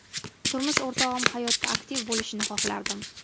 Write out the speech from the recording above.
Turmush o‘rtog‘im hayotda aktiv bo‘lishini xohlardim.